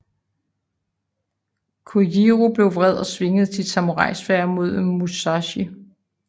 Kojiro blev vred og svingede sit samurai sværd mod Musashi